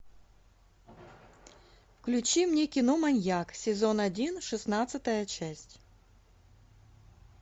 включи мне кино маньяк сезон один шестнадцатая часть